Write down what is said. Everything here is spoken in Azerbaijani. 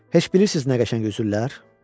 Heç bilirsiz nə qəşəng üzürlər?